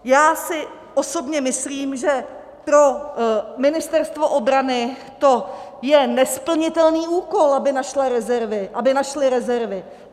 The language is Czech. Já si osobně myslím, že pro Ministerstvo obrany to je nesplnitelný úkol, aby našlo rezervy.